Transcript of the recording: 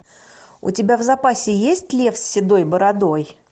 у тебя в запасе есть лев с седой бородой